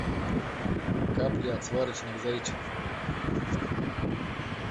капли от сварочных зайчиков